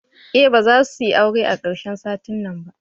Eh bazasuyi aure a karshen satin nan ba.